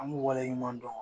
An b'u waleɲuman dɔn.